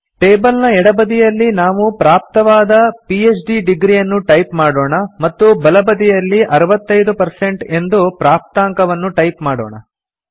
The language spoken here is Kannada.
ಟೇಬಲ್ ನ ಎಡಬದಿಯಲ್ಲಿ ನಾವು ಪ್ರಾಪ್ತವಾದ ಪಿಎಚ್ಡಿ ಡಿಗ್ರಿಯನ್ನು ಟೈಪ್ ಮಾಡೋಣ ಮತ್ತು ಬಲಬದಿಯಲ್ಲಿ 65 ಎಂದು ಪ್ರಾಪ್ತಾಂಕವನ್ನು ಟೈಪ್ ಮಾಡೋಣ